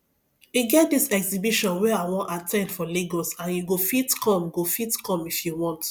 e get dis exhibition wey i wan at ten d for lagos and you go fit come go fit come if you want